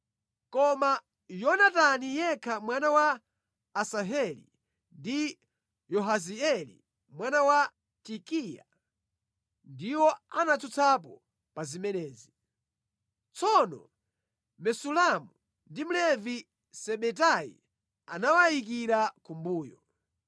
Koma Yonatani yekha mwana wa Asaheli ndi Yahazieli mwana wa Tikiva ndiwo anatsutsapo pa zimenezi. Tsono Mesulamu ndi Mlevi Sebetai anawayikira kumbuyo.